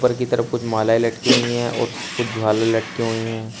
ऊपर की तरफ कुछ मालाएँ लटकी हुई हैं और कुछ झालर लटकी हुई हैं।